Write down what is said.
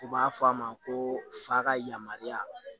U b'a fɔ a ma ko f'a ka yamaruya